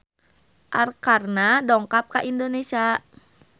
Arkarna dongkap ka Indonesia